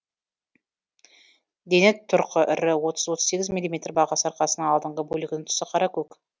дене тұрқы ірі отыз отыз сегіз миллиметр бағасы арқасының алдыңғы бөлігінің түсі қара көк